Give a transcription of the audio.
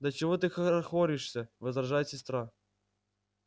да чего ты хорохоришься возражает сестра